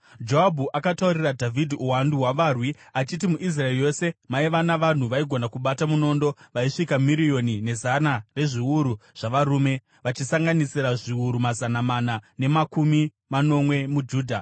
Joabhu akataurira Dhavhidhi uwandu hwavarwi achiti muIsraeri yose maiva navanhu vaigona kubata munondo vaisvika miriyoni nezana rezviuru zvavarume, vachisanganisira zviuru mazana mana nemakumi manomwe muJudha.